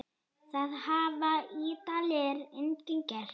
Það hafa Ítalir einnig gert.